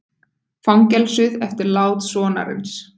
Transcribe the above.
Fangelsuð eftir lát sonarins